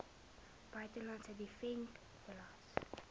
buitelandse dividend belas